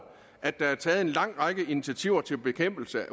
at der er taget en lang række initiativer til bekæmpelse af